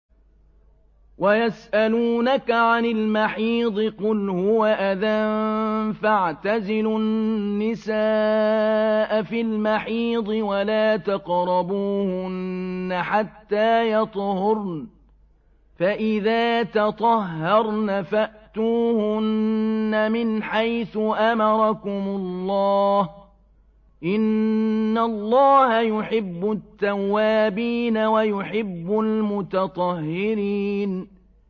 وَيَسْأَلُونَكَ عَنِ الْمَحِيضِ ۖ قُلْ هُوَ أَذًى فَاعْتَزِلُوا النِّسَاءَ فِي الْمَحِيضِ ۖ وَلَا تَقْرَبُوهُنَّ حَتَّىٰ يَطْهُرْنَ ۖ فَإِذَا تَطَهَّرْنَ فَأْتُوهُنَّ مِنْ حَيْثُ أَمَرَكُمُ اللَّهُ ۚ إِنَّ اللَّهَ يُحِبُّ التَّوَّابِينَ وَيُحِبُّ الْمُتَطَهِّرِينَ